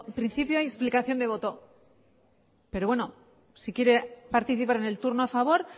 principio hay explicación de voto pero bueno si quiere participar en el turno a favor